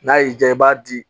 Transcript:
N'a y'i diya i b'a di